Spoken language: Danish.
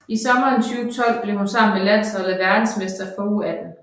I sommeren 2012 blev hun sammen med landsholdet verdensmester for U18